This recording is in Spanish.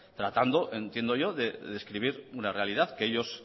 tratando entiendo yo de describir una realidad